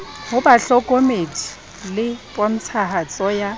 ho bahlokomedi le pontshahatso ya